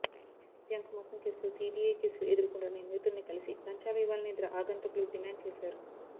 bank మోసం కేసులో CBI కేసులు ఎదుర్కొంటున్న నిందితుడిని కలిసి లంచాలు ఇవ్వాలని ఇద్దరు ఆగంతకులు డిమాండ్ చేశారు